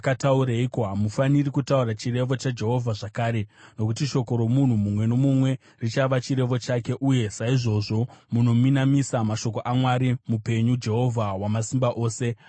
Hamufaniri kutaura ‘chirevo chaJehovha’ zvakare, nokuti shoko romunhu mumwe nomumwe richava chirevo chake, uye saizvozvo munominamisa mashoko aMwari mupenyu, Jehovha Wamasimba Ose, Mwari wedu.